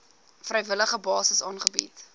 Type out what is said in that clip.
vrywillige basis aangebied